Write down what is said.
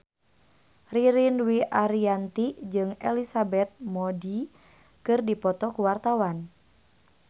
Ririn Dwi Ariyanti jeung Elizabeth Moody keur dipoto ku wartawan